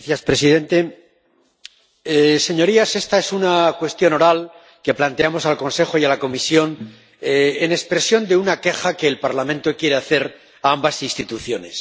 Señor presidente. Señorías, esta es una pregunta oral que planteamos al Consejo y a la Comisión como expresión de una queja que el Parlamento quiere hacer a ambas instituciones.